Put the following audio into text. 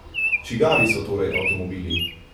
Čigavi so torej avtomobili?